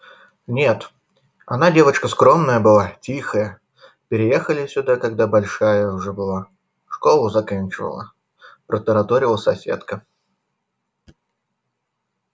нет она девочка скромная была тихая переехали сюда когда большая уже была школу заканчивала протараторила соседка